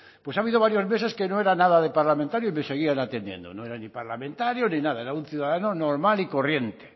pues ha habido varios meses que no era nada de parlamentario y me seguían atendiendo no era ni parlamentario ni nada era un ciudadano normal y corriente